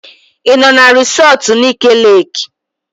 Ị nọ na resọtu Nike Leeki?